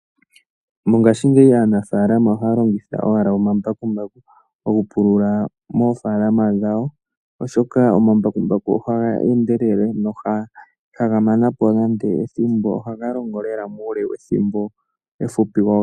Ngaashingeyi aanafaalama ohaya longitha owala omambakumbaku oku pulula oofaalama dhawo oshoka omambakumbaku ohaga endelele, no ihaga mana po ethimbo, ohaga longo lela muule wethimbo efupi wo.